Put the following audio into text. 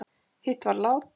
hátt var látið